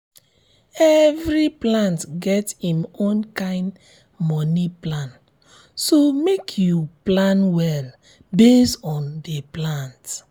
every plant get im own kind moni plan so make you plan well based on the plant